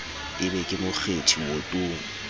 e be ke mokgethi wotong